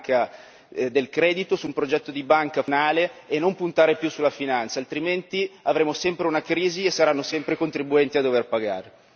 Bisogna puntare su un progetto di banca del credito, su un progetto di banca funzionale e non puntare più sulla finanza, altrimenti avremo sempre una crisi e saranno sempre i contribuenti a dover pagare.